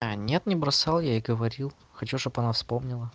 а нет не бросал я ей говорил хочу чтобы она вспомнила